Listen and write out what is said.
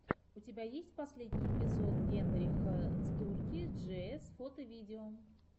у тебя есть последний эпизод генриха стурки джиэс фото видео